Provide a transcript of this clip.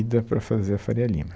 para fazer a Faria Lima.